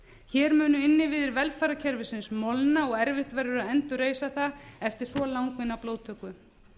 hér munu innviðir velferðarkerfisins molna og erfitt verður að endurreisa það eftir svo langvinna blóðtöku